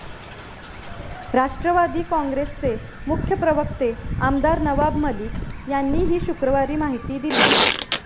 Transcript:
राष्ट्रवादी काँग्रेसचे मुख्य प्रवक्ते आमदार नवाब मलिक यांनी ही शुक्रवारी माहिती दिली.